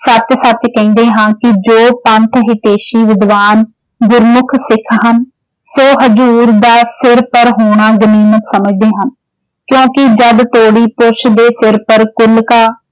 ਸੱਚ-ਸੱਚ ਕਹਿਣੇ ਹਾਂ ਕਿ ਜੋ ਪੰਥ ਹਿਤੈਸ਼ੀ ਵਿਦਵਾਨ ਗੁਰਮੁੱਖ ਸਿੱਖ ਹਨ ਜੋ ਹਜ਼ੂਰ ਦਾ ਸਿਰ ਪਰ ਹੋਣਾ ਗਰਿਮਤ ਸਮਝਦੇ ਹਨ ਕਿਉਂਕਿ ਜਦ ਤੋੜੀ ਪੁਰਸ਼ ਦੇ ਸਿਰ ਪਰ ਕੁਲ ਕਾ